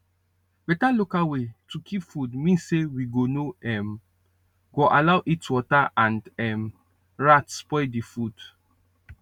better local way to keep food mean say we go no um go allow heatwater and um rats spoil the food